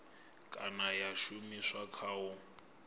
kana ya shumiswa kha u